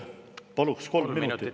Paluks kolm minutit lisaks.